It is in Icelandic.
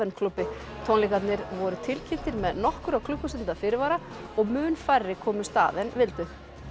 klúbbi tónleikarnir voru tilkynntir með nokkurra klukkustunda fyrirvara og mun færri komust að en vildu